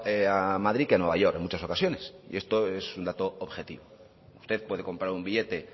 a madrid que a new york en muchas ocasiones y esto es un dato objetivo usted puede comprar un billete